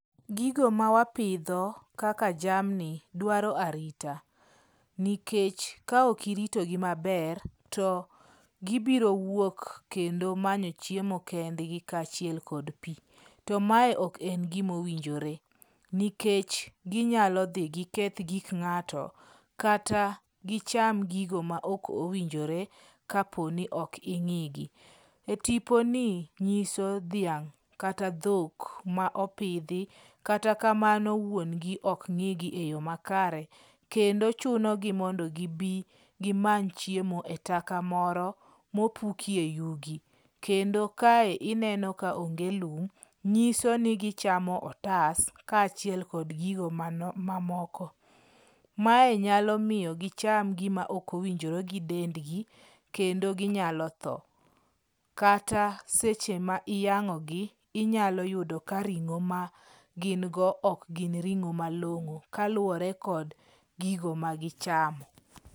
Gigo ma wapidho kaka jamni dwaro arita. Nikech kaok iritogi maber, to gibiro wuok kendo manyo chiemo kendgi kaachiel kod pi. To mae ok en gima owinjore nikech ginyalo dhi giketh gik ng'ato, kata gicham gigo ma ok owinjore kapo ni ok ing'i gi. E tipono nyiso dhiang' kata dhok ma opidhi. Kata kamano wuon gi ok ng'igi eyo makare kendo chunogo mondo gibi gimany chiemo e taka moro mopukie yugi. Kendo kae ineno ka onge lum, nyiso ni gichamo otas kaachiel kod gigo mamoko. Mae nyalo miyo gicham gima ok owinjore gi dendgi, kendo ginyalo tho. Kata seche ma iyang'ogi inyalo yudo ka ring'o ma gin go ok gin ring'o malong'o kaluwore kod gigo ma gichamo.